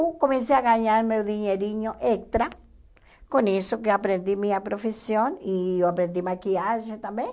eu comecei a ganhar meu dinheirinho extra, com isso que aprendi minha profissão e eu aprendi maquiagem também.